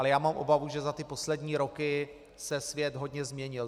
Ale já mám obavu, že za ty poslední roky se svět hodně změnil.